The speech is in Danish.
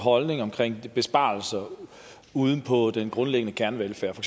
holdning omkring besparelser ude på den grundlæggende kernevelfærd for